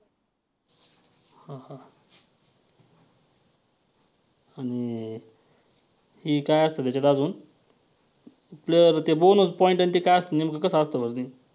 आणि हे काय असतं त्याच्यात अजुन तर bonus point आणि ते काय असतं नेमकं कसं असतं बरं ते.